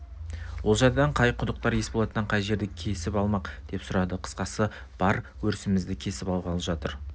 олжайдан қай құдықтар есболаттан қай жерлерді кесіп алмақ деп сұрады қысқасы бар өрісімізді кесіп алғалы жатыр